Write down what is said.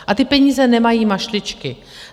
A ty peníze nemají mašličky.